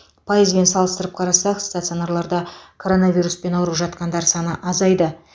пайызбен салыстырып қарасақ стационарларда коронавируспен ауырып жатқандар саны азайды